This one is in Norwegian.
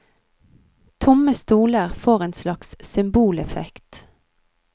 Tomme stoler får en slags symboleffekt.